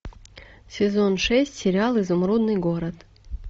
сезон шесть сериал изумрудный город